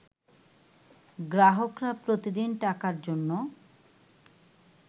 গ্রাহকরা প্রতিদিন টাকার জন্য